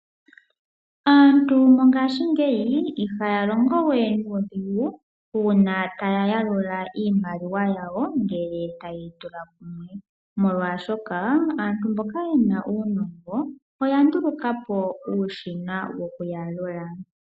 Aantu mongashingeyi ihaa longo wee nuudhigu uuna taya yalulwa iimaliwa yawo ngele taya tula kumwe. Molwaashoka aantu mboka yena uunongo oya nduluka po uushina woku yalula.